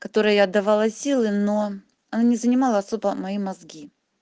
которой я отдавала силы но они занимала особо мои мозги